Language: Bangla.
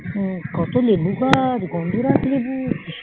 কত লেবু গাছ গন্ধরাজ লেবু